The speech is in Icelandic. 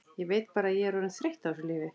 Ég veit bara að ég er orðin þreytt á þessu lífi.